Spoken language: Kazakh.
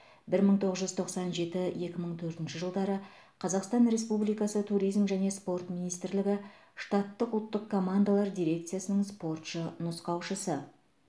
бір мың тоғыз жүз тоқсан жеті екі мың төртінші жылдары қазақстан республикасы туризм және спорт министрлігі штаттық ұлттық командалар дирекциясының спортшы нұсқаушысы